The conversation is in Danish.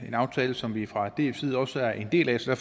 en aftale som vi fra dfs side også er en del af så